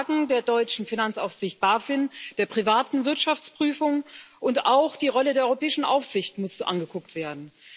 Das Versagen der deutschen Finanzaufsicht BaFin, der privaten Wirtschaftsprüfung und auch die Rolle der europäischen Aufsicht müssen angeguckt werden.